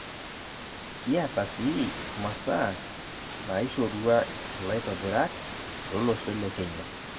Kiata sii imasaa naishorua ilaitobirak lolosho lekenya